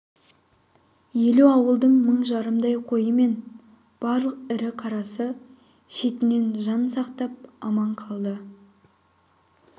елу ауылдың мың жарымдай қойы мен барлық ірі қарасы шетінен жан сақтап аман қалды